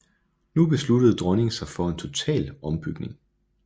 Nu besluttede dronningen sig for en total ombygning